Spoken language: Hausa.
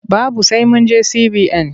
Babu sai mun je CBN.